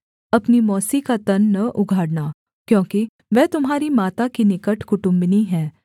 अपनी मौसी का तन न उघाड़ना क्योंकि वह तुम्हारी माता की निकट कुटुम्बिनी है